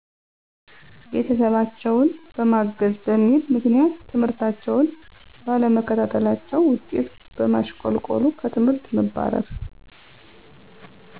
ቤተሰባቸውን በማገዝ በሚል ምክንያት ትምህርታቸውን ባለመከታታለቸው ውጤት በማሸቆልቆሉ ከትምህርት መባረር።